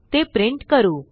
ते प्रिंट करू